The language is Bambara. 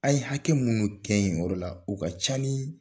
A ye hakɛ minnu kɛ yen yɔrɔ la o ka ca ni